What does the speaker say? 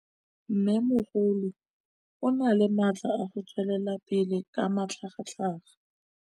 Mmêmogolo o na le matla a go tswelela pele ka matlhagatlhaga.